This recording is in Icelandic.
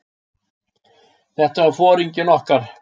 Þetta var foringinn okkar.